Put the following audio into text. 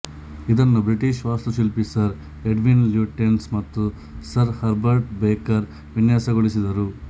ಇದನ್ನು ಬ್ರಿಟಿಷ್ ವಾಸ್ತುಶಿಲ್ಪಿ sir Edwin Lutyens ಮತ್ತು ಸರ್ ಹರ್ಬರ್ಟ್ ಬೇಕರ್ ವಿನ್ಯಾಸಗೊಳಿಸಿದರು